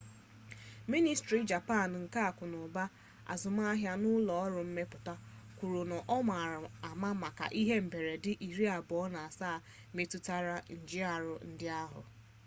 ministri japan nke akụnụba azụmaahịa na ụlọ ọrụ mmepụta meti kwuru na ọ ma ama maka ihe mberede iri abụọ na asaa metụtara njìarụ ndị ahụ